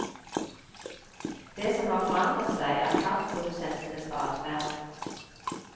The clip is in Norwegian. Det som har forandret seg, er kraftprodusentenes adferd.